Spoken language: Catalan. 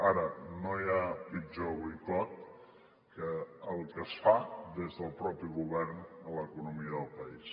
ara no hi ha pitjor boicot que el que es fa des del mateix govern a l’economia del país